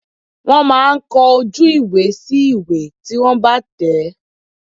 Wọ́n máa ń kọ ojú ìwé sí ìwé tí wọ́n bá tẹ̀.